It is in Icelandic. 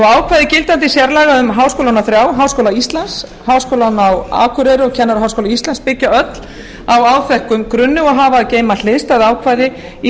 ákvæði gildandi sérlaga um háskólana þrjá háskóla íslands háskólann á akureyri og kennaraháskóla íslands byggja öll á áþekkum grunni og hafa að geyma hliðstæð ákvæði í